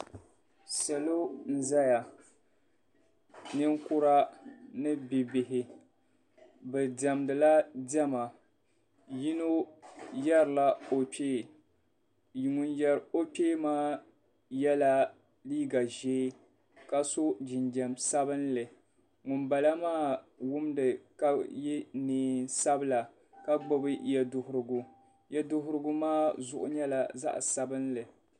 Salo n-zaya ninkura ni bi'bihi bɛ diɛmdila diɛma yino yɛrila o kpee ŋun yɛri o kpee maa yela liiga ʒee ka so jinjam sabinli ŋumbala maa wumda ka ye neen'sabila ka gbubi yeduhirigu yeduhirigu maa zuɣu nyɛla zaɣ'sabinli.